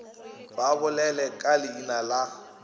ba bolele ka leina la